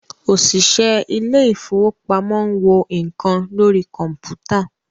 òṣìṣẹ́ ilé ìfọwọ́pamo ń wo nǹkan lórí kọ̀mpútà.